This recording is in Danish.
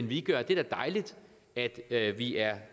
vi gør det er dejligt at at vi er